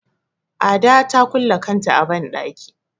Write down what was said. Ada ta kulle kanta a banɗaki.